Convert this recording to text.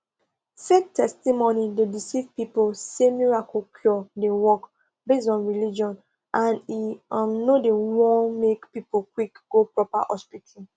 fake testimony dey deceive people say miracle cure dey work based on religion and e um no dey won make people quick go proper hospital